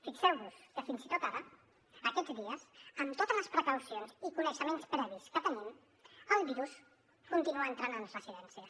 fixeu vos que fins i tot ara aquests dies amb totes les precaucions i coneixements previs que tenim el virus continua entrant en residències